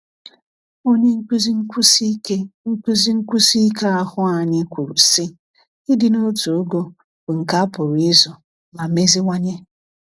Onye nkuzi nkwụsi ike nkuzi nkwụsi ike ahụ́ anyị kwuru sị: Ịdị n’otu ogo bụ nke a pụrụ ịzụ ma meziwanye.